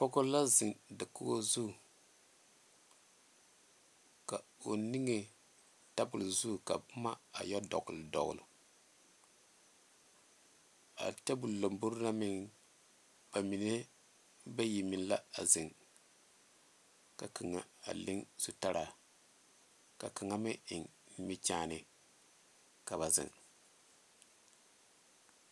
Pɔge la zeŋ dakogi zu, ka o niŋe tabol zu ka boma a yɛ dogle dogle a tabol lanboɔre na meŋ bamine bayi meŋ la a zeŋ ka kaŋa a le zutaraa ka kaŋa meŋ eŋ nimikyaane ka ba zeŋ.